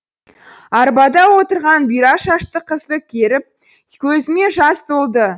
арбада отырған бұйра шашты қызды көріп көзіме жас толды